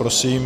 Prosím.